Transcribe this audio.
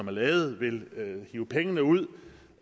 er lavet vil hive penge ud